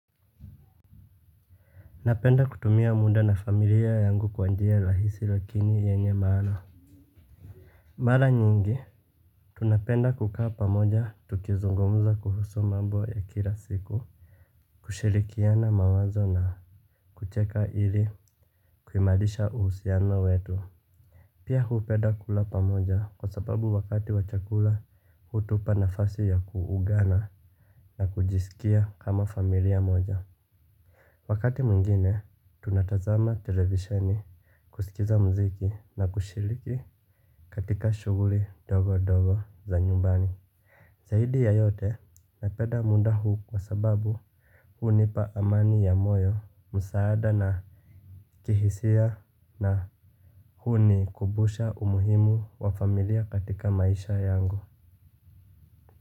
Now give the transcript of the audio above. Napenda kutumia muda na familia yangu kwa njia lahisi lakini yenye maana. Mara nyingi tunapenda kukaa pamoja tukizungumza kuhusu mambo ya kila siku. Kushirikiana mawazo na kucheka ili kuimarisha uhusiano wetu. Pia huupeda kula pamoja kwa sababu wakati wa chakula hutupa nafasi ya kuungana na kujisikia kama familia moja. Wakati mwingine, tunatazama televisheni, kusikiza muziki na kushiliki katika shuguri dogo dogo za nyumbani. Zaidi ya yote napenda munda huu kwa sababu huu nipa amani ya moyo, musaada na kihisia na huu ni kubusha umuhimu wa familia katika maisha yangu.